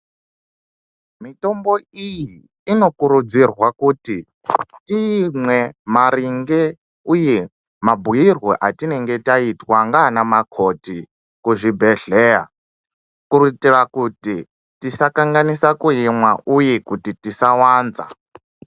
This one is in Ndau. Mitombo iyi inokurudzirwa kuti iimwe maringe uye mabhuirwe atinenge taita wanga ane makoti kuzvibhedhlera kuitira kuti tisakanganisa kuimwe uye kuti tisawanza.